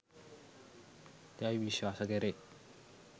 යැයි විශ්වාස කැරේ.